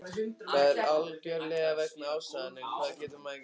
Það var algjörlega vegna aðstæðna, en hvað getur maður gert?